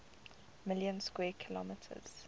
million square kilometers